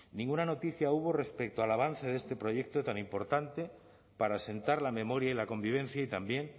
ninguna noticia hubo respecto al avance de este proyecto tan importante para asentar la memoria y la convivencia y también